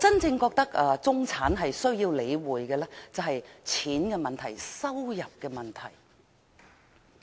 我覺得中產真正需要理會的是錢的問題、收入的問題。